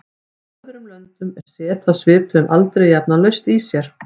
Í öðrum löndum er set af svipuðum aldri jafnan laust í sér.